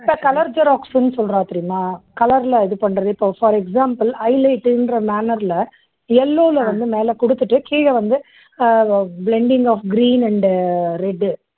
colour xerox சுன்னு சொல்றாங்க தெரியுமா? color ல இது பண்றது. இப்போ for example highlight ங்கற manner ல yellow ல வந்து மேலக் குடுத்துட்டு கீழ வந்து ah blending of green and red